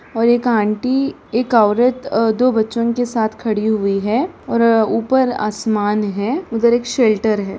और एक आंटी एक औरत अ दो बच्चों के साथ खड़ी हुई है और ऊपर आसमान है उधर एक सेल्टर है।